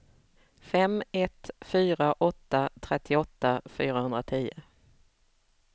fem ett fyra åtta trettioåtta fyrahundratio